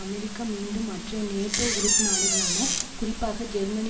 அமெரிக்க மீண்டும் மற்றைய நேட்டோ உறுப்பு நாடுகளான குறிப்பாக ஜெர்மனி